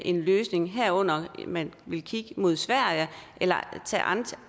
en løsning herunder om man vil kigge mod sverige eller tage